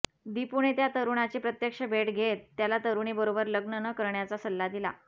दिपूने त्या तरुणाची प्रत्यक्ष भेट घेत त्याला तरुणीबरोबर लग्न न करण्याचा सल्ला दिला